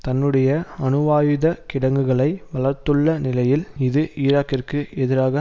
தன்னுடைய அணுவாயுதக் கிடங்குகளை வளர்த்துள்ள நிலையில் இது ஈராக்கிற்கு எதிராக